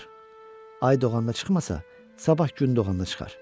Ay doğanda çıxmasa, sabah gün doğanda çıxar.